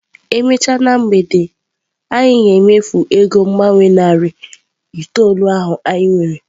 E mechaa na mgbede a, anyị ga-emefu ego mgbanwe naira narị itoolu ahụ anyị nwere.